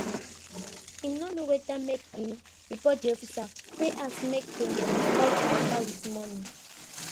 him no know whether make him report de officer wey ask say make dem die de mata with monie